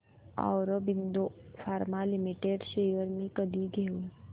Aurobindo pharma limited shares मी कधी घेऊ